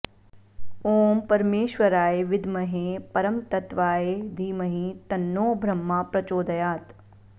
ॐ परमेश्वराय विद्महे परमतत्त्वाय धीमहि तन्नो ब्रह्मा प्रचोदयात्